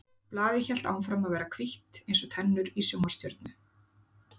Blaðið hélt áfram að vera hvítt eins og tennur í sjónvarpsstjörnu.